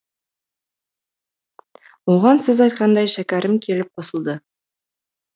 оған сіз айтқандай шәкерім келіп қосылды